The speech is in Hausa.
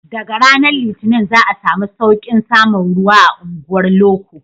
Daga ranar litinin za a samu sauƙin samun ruwa a unguwar loko